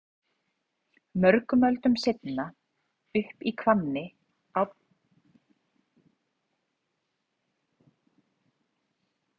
mörgum öldum seinna ólst upp í hvammi árni magnússon prófessor og handritasafnari